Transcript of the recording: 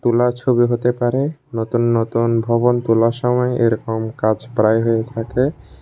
তোলা ছবি হতে পারে নতুন নতুন ভবন তোলার সময় এরকম কাজ প্রায় হয়ে থাকে।